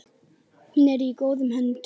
Hún er í góðum höndum.